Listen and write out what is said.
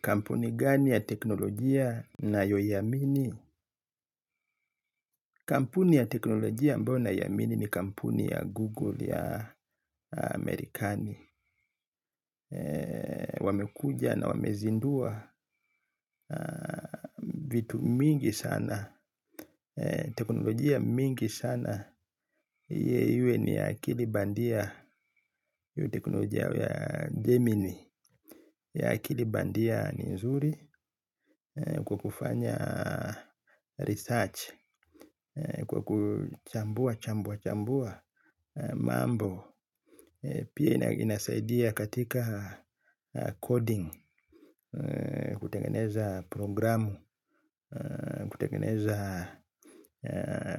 Kampuni gani ya teknolojia nayoiamini? Kampuni ya teknolojia ambayo naiamini ni kampuni ya Google ya Marekani. Wamekuja na wamezindua vitu mingi sana. Teknolojia mingi sana. Hii iwe ni akili bandia. Teknoloja ya Gemini. Akili bandia ni nzuri kwa kufanya research, kwa kuchambua chambua chambua mambo. Pia inasaidia katika coding. Kutengeneza programu. Kutengeneza